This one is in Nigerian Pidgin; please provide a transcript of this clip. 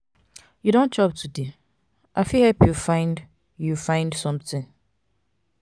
you don chop today? i fit help you find you find something.